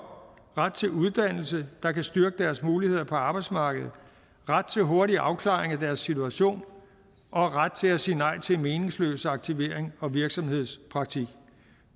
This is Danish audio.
ret til uddannelse der kan styrke deres muligheder på arbejdsmarkedet ret til hurtig afklaring af deres situation og ret til at sige nej til meningsløs aktivering og virksomhedspraktik